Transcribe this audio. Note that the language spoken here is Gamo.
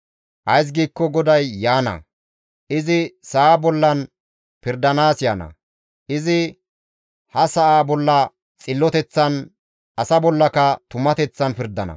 Ays giikko GODAY yaana; izi sa7a bollan pirdanaas yaana; izi ha sa7a bolla xilloteththan, asa bollaka tumateththan pirdana.